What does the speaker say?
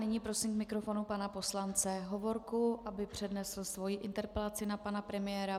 Nyní prosím k mikrofonu pana poslance Hovorku, aby přednesl svoji interpelaci na pana premiéra.